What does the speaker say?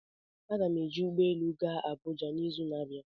Aga m eji ụgbọ elu gaa Abuja n'izu na-abịa